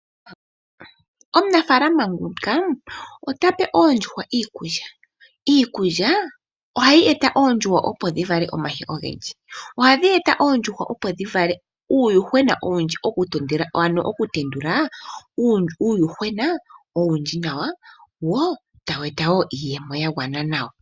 Omunafaalama nguka ota pe oondjuhwa iikulya. Iikulya ohayi eta oondjuhwa opo dhi vale omayi ogendji . Ohadhi eta oondjuhwa opo dhi vale uuyuhwena owundji ano okutendula uuyuhwena owundji nawa wo tawu eta iiyemo ya gwana nawa.